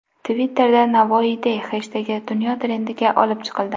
Twitter’da #NavoiyDay heshtegi dunyo trendiga olib chiqildi.